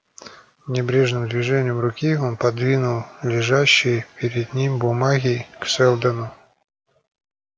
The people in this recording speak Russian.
небрежным движением руки он подвинул лежащие перед ним бумаги к сэлдону